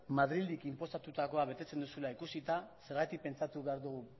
madriletik inposatutakoa betetzen duzula ikusita zergatik pentsatu behar dugu